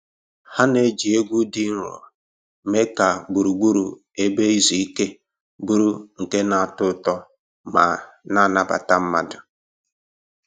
Ha na-eji egwu dị nro mee ka gburugburu ebe izu ike bụrụ nke na-atọ ụtọ ma nabata mmadụ